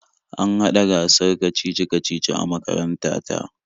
An hada gasar kacici-kacici a makaranta ta.